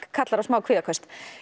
kallar á smá kvíðaköst